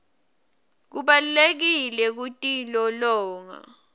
kubalulekile kutilolonga